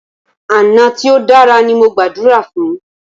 Àná tí o dára ní mo gbàdúrà fún.